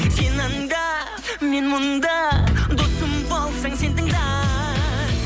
сен анда мен мұнда досым болсаң сен тыңда